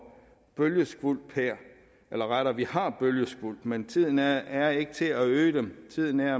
bølgeskvulp her eller rettere vi har bølgeskvulp men tiden er ikke til at øge dem tiden er